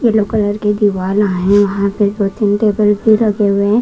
Yellow colour के दीवाला हैं वहां पेदो -तीन टेबल भी लगे हुए हैं।